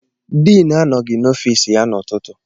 Diinu anọghị n'ọfiisi ya n'ụtụtụ.